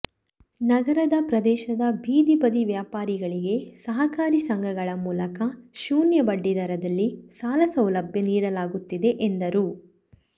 ನಗರದ ಪ್ರದೇಶದ ಬೀದಿ ಬದಿ ವ್ಯಾಪಾರಿಗಳಿಗೆ ಸಹಕಾರಿ ಸಂಘಗಳ ಮೂಲಕ ಶೂನ್ಯ ಬಡ್ಡಿದರದಲ್ಲಿ ಸಾಲಸೌಲಭ್ಯ ನೀಡಲಾಗುತ್ತಿದೆ ಎಂದರು